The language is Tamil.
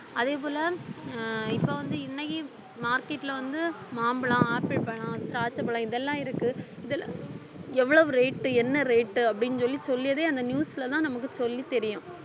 அதே போல ஆஹ் இப்ப வந்து இன்னைக்கு market ல வந்து மாம்பழம் ஆப்பிள் பழம்திராட்சைப்பழம் இதெல்லாம் இருக்கு இதுல எவ்வளவு rate என்ன rate அப்படின்னு சொல்லி சொல்லியதே அந்த news லதான் நமக்கு சொல்லித் தெரியும்